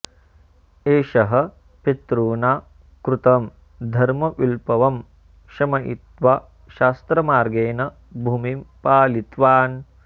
एषः पितृणा कृतं धर्मविप्लवं शमयित्वा शास्त्रमार्गेण भूमिं पालितवान्